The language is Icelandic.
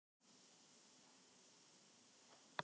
Una